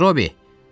Metrobi!